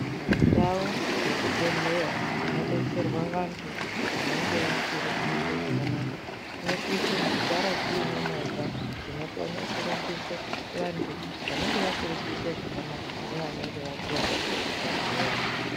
Ndau dzechibhedhleya dzinodetserwa vantu vanenge vasiri kuite zvakanaka, dzinosise kugara dzine movha dzinokone kurumbise vantu vanenge vasiri kuite zvakanaka nevanenge vakuwara kuchibhedhleya.